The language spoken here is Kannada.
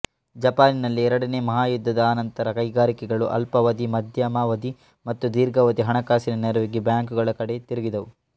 ಜಪಾನಿನಲ್ಲಿ ಎರಡನೆಯ ಮಹಾಯುದ್ಧದ ಅನಂತರ ಕೈಗಾರಿಕೆಗಳು ಅಲ್ಪಾವಧಿ ಮಧ್ಯಮಾವಧಿ ಮತ್ತು ದೀರ್ಘಾವಧಿ ಹಣಕಾಸಿನ ನೆರವಿಗೆ ಬ್ಯಾಂಕುಗಳ ಕಡೆ ತಿರುಗಿದುವು